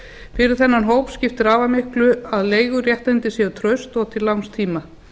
fyrir þennan hóp skiptir afar miklu að leiguréttindi séu traust og til langs tíma